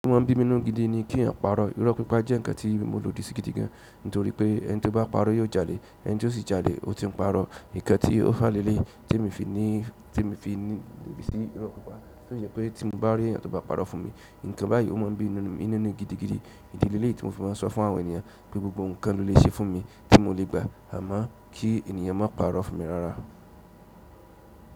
Ó mọ̀ bí mi ńnú gidi ni kí n pa'rọ̀ irọ́ pípa jẹ́ ǹkan tí mo lòdì sí gidi gan, nítorí pé ẹni tó bá pa'rọ̀ yóò jalè, ẹni tí ó sì jalè, ó ti ń parọ́. Nǹkan tí ó fà leléyìí tí èmi fi ní, tí èmi fi nífẹ̀ẹ́ sí irọ́ pípa. Ó jẹ́ pé tí mo bá rí ẹniti ó bá pa'rọ̀ fún mi, nǹkan báyìí ó máa ń bí mi nínú gidigidi. Ìdílé leléyìí tí mo fi máa sọ fún àwọn ènìyàn pé gbogbo ǹkan ló lè ṣe fún mi tí mo lè gbà, àmọ́ kí ènìyàn má parọ́ fún mi rárá.